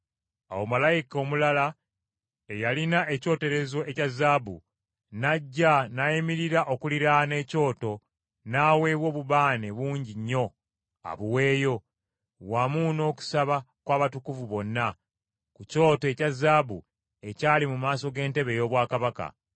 Awo malayika omulala eyalina ekyoterezo ekya zaabu n’ajja n’ayimirira okuliraana ekyoto, n’aweebwa obubaane bungi nnyo abuweeyo, wamu n’okusaba kw’abatukuvu bonna, ku kyoto ekya zaabu ekyali mu maaso g’entebe ey’obwakabaka.